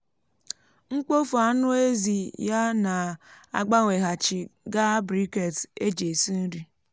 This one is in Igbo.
mkpofu anụ ezi ya na-agbanweghachi gaa briquettes eji esi nri.